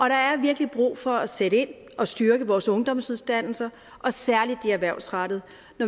der er virkelig brug for at sætte ind og styrke vores ungdomsuddannelser særlig de erhvervsrettede